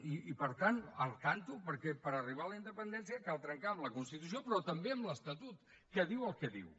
i per tant al tanto perquè per arribar a la independència cal trencar amb la constitució però també amb l’estatut que diu el que diu